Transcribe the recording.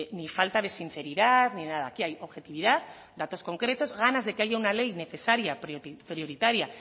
ni falta de sinceridad ni nada aquí hay objetividad datos concretos ganas de que haya una ley necesaria prioritaria